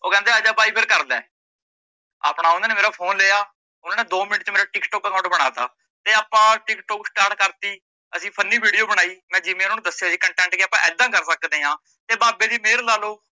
ਕਹਿੰਦੇ ਆਜਾ ਬਾਈ ਫਿਰ ਕਰਲੇ ਆਪਣਾ ਓਹਨਾਂ ਨੇ ਮੇਰਾ phone ਲਿਆ ਓਨਾ ਨੇ ਦੋ ਮਿੰਟ ਚ ਮੇਰਾ ਟੀਕਟੋਕ account ਬਣਾਤਾ ਤੇ ਆਪਾ ਟੀਕਟੋਕ start ਕਰਤੀ ਅਸੀਂ funny video ਬਣਾਈ ਮੈ ਜਿਵੇਂ ਉਨਾਂ ਨੂੰ ਦਸਿਆ ਸੀ content ਕੀ ਆਪਾਂ ਏਦਾਂ ਕਰ ਸਕਦਿਆ ਤੇ ਬਾਬੇ ਦੀ ਮਹਿਰ ਲਾਲੋ